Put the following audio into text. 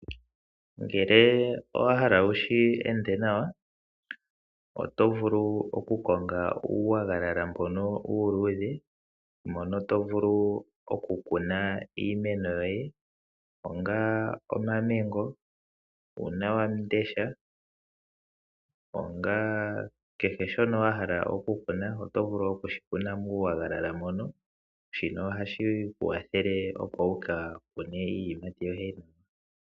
Ngele owa hala wu shi ende nawa oto vulu okukonga uunayilona mbono uuluudhe mono to vulu okukuna iimeno yoye ngaashi omamango, uunawamundesha nakehe shoka wa hala okukuna oto vulu okushi kuna muunayilona moka. Shika ohashi ku kwathele, opo wu ka kune iiyimati yoye.